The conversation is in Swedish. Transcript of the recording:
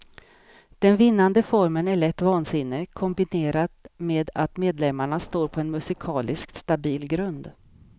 Den vinnande formeln är lätt vansinne, kombinerat med att medlemmarna står på en musikaliskt stabil grund.